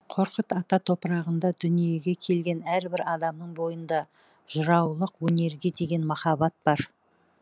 қорқыт ата топырағында дүниеге келген әрбір адамның бойында жыраулық өнерге деген махаббат бар